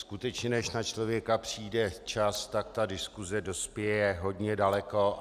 Skutečně než na člověka přijde čas, tak ta diskuse dospěje hodně daleko.